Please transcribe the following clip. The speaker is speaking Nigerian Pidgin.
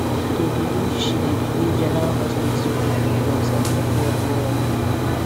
she dey believe she dey believe general hospital people dem sabi the work well